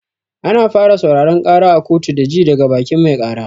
Ana fara sauraron ƙara a kotu da ji daga bakin mai ƙara.